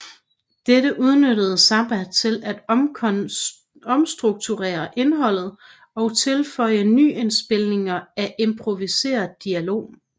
Dette udnyttede Zappa til at omstrukturere indholdet og tilføje nyindspilninger af improviseret dialog